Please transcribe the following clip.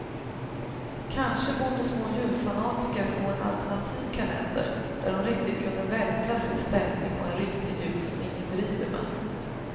Kanske borde små julfanatiker få en alternativ kalender där de riktigt kunde vältra sig i stämning och en riktig jul som ingen driver med.